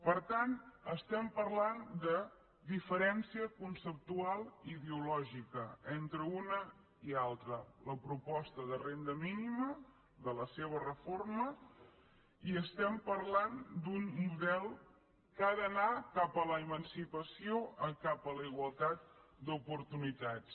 per tant estem parlant de diferència conceptual i ideològica entre una i altra la proposta de renda mínima de la seva reforma i estem parlant d’un model que ha d’anar cap a l’emancipació cap a la igualtat d’oportunitats